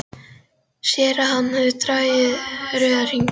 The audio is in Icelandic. Sér að hann hefur dregið rauðan hring um þennan dag.